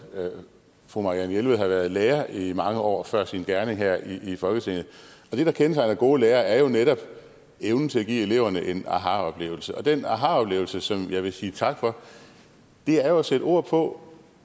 fru marianne jelved har været lærer i mange år før sin gerning her i folketinget det der kendetegner gode lærere er jo netop evnen til at give eleverne en ahaoplevelse og den ahaoplevelse som jeg vil sige tak for er at sætte ord på